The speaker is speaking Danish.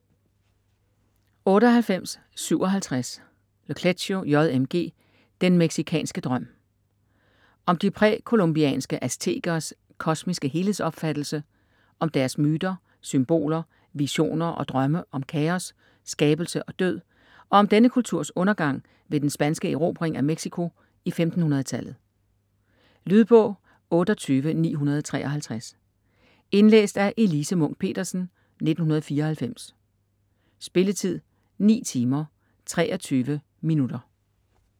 98.57 Le Clézio, J. M. G.: Den mexikanske drøm Om de præ-columbianske aztekers kosmiske helhedsopfattelse, om deres myter, symboler, visioner og drømme om kaos, skabelse og død, og om denne kulturs undergang ved den spanske erobring af Mexico i 1500-tallet. Lydbog 28953 Indlæst af Elise Munch-Petersen, 1994. Spilletid: 9 timer, 23 minutter.